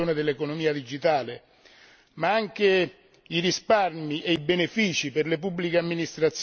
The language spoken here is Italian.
si hanno anche risparmi e benefici per le pubbliche amministrazioni e soprattutto per i cittadini.